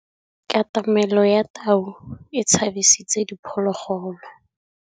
Katamêlô ya tau e tshabisitse diphôlôgôlô.